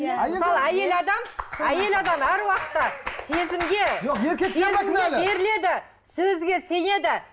иә мысалы әйел адам әйел адам әр уакытта сезімге сезімге беріледі сөзге сенеді